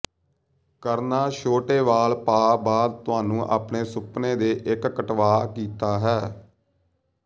ਕਰਨਾ ਛੋਟੇ ਵਾਲ ਪਾ ਬਾਅਦ ਤੁਹਾਨੂੰ ਆਪਣੇ ਸੁਪਨੇ ਦੇ ਇੱਕ ਕਟਵਾ ਕੀਤਾ ਹੈ